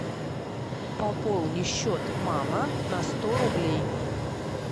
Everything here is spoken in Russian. пополни счет мама на сто рублей